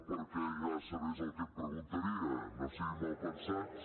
perquè ja sabés el que em preguntaria no siguin malpensats